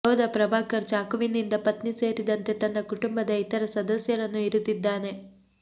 ಯೋಧ ಪ್ರಭಾಕರ್ ಚಾಕುವಿನಿಂದ ಪತ್ನಿ ಸೇರಿದಂತೆ ತನ್ನ ಕುಟುಂಬದ ಇತರ ಸದಸ್ಯರನ್ನು ಇರಿದಿದ್ದಾನೆ